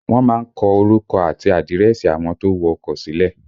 Wọ́n má ń kọ orúkọ àti àdírẹ́sì àwọn tó wọ ọkọ sílẹ̀